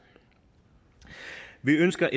vi ønsker